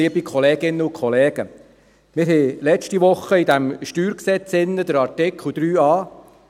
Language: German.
Letzte Woche behandelten wir hier die Artikel 3a, 21 und 24